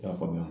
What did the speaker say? I y'a faamuya